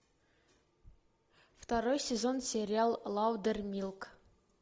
второй сезон сериал лаудермилк